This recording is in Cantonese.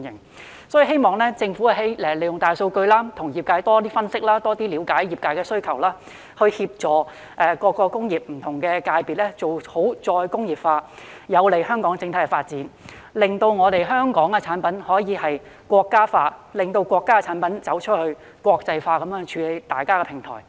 所以，我希望政府利用大數據，多與業界分析並了解他們的需要，協助各個工業不同界別做好再工業化，這便能有利香港的整體發展，令香港產品可以"國家化"，令國家產品走出國際，成為大家的平台。